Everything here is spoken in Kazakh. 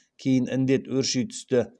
кейін індет өрши түсті